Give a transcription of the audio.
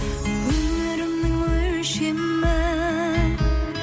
өмірімнің өлшемі